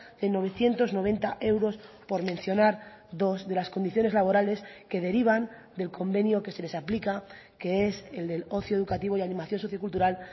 de novecientos noventa euros por mencionar dos de las condiciones laborales que derivan del convenio que se les aplica que es el del ocio educativo y animación sociocultural